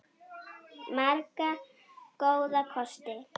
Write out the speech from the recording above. Marga góða kosti.